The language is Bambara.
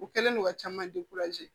U kɛlen don ka caman